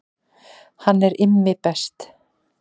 Hann er Immi best